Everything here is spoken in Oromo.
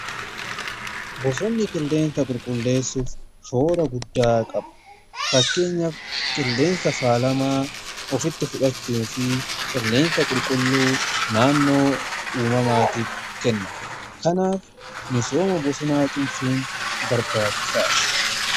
Bosonni qilleensa qulqulleessuuf shoora guddaa qabu. Fakkeenyaaf qilleensa faalamaa ofitti fudhachuu fi qilleensa qulqulluu naannoo uumamaatiif kenna. Kanaaf misooma bosonaa cimsuu barbaachisaadha.